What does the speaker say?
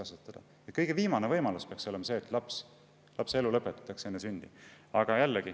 See, et lapse elu lõpetatakse enne sündi, peaks olema viimane.